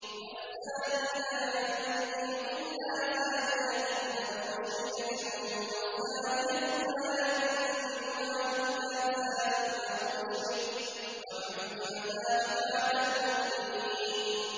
الزَّانِي لَا يَنكِحُ إِلَّا زَانِيَةً أَوْ مُشْرِكَةً وَالزَّانِيَةُ لَا يَنكِحُهَا إِلَّا زَانٍ أَوْ مُشْرِكٌ ۚ وَحُرِّمَ ذَٰلِكَ عَلَى الْمُؤْمِنِينَ